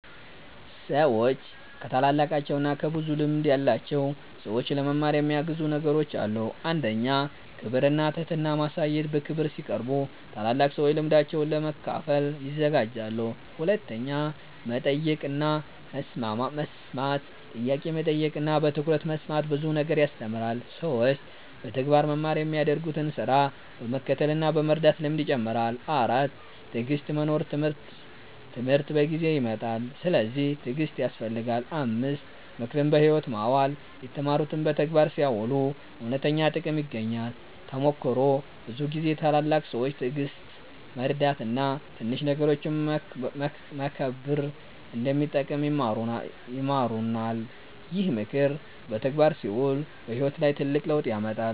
ሰዎች ከታላላቃቸው እና ከብዙ ልምድ ያላቸው ሰዎች ለመማር የሚያግዙ ነገሮች አሉ። 1. ክብር እና ትህትና ማሳየት በክብር ሲቀርቡ ታላላቅ ሰዎች ልምዳቸውን ለመካፈል ይዘጋጃሉ። 2. መጠየቅ እና መስማት ጥያቄ መጠየቅ እና በትኩረት መስማት ብዙ ነገር ያስተምራል። 3. በተግባር መማር የሚያደርጉትን ስራ በመከተል እና በመርዳት ልምድ ይጨምራል። 4. ትዕግሥት መኖር ትምህርት በጊዜ ይመጣል፤ ስለዚህ ትዕግሥት ያስፈልጋል። 5. ምክርን በሕይወት ማዋል የተማሩትን በተግባር ሲያውሉ እውነተኛ ጥቅም ይገኛል። ተሞክሮ ብዙ ጊዜ ታላላቅ ሰዎች ትዕግሥት፣ መርዳት እና ትንሽ ነገሮችን መከብር እንደሚጠቅም ይማሩናል። ይህ ምክር በተግባር ሲውል በሕይወት ላይ ትልቅ ለውጥ ያመጣል።